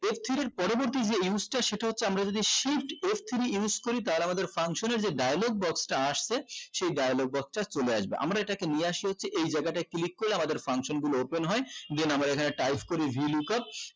f three র পরবর্তী যে use টা সেটা হচ্ছে আমরা যদি shift f three use করি তাহলে আমাদের function যে dialogue box টা আসছে সেই dialogue box টা চলে আসবে আমরা এটাকে আমরা এটাকে নিয়ে আসি হচ্ছে এই জায়গাটায় click করে আমাদের function গুলো open হয় then আমরা এখানে type করি hill wake up